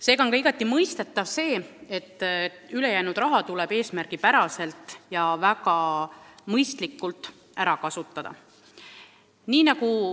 Seega on mõistetav, et ülejäänud raha tuleb väga eesmärgipäraselt ja väga mõistlikult ära kasutada.